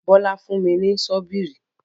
Bólà fún mi ní sọbíìrì.